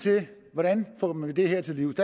hvordan kommer vi det her til livs